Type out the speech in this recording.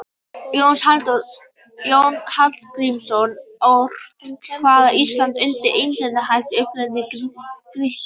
Jónas Hallgrímsson orti kvæðið Ísland undir elegískum hætti sem upprunninn er í Grikklandi.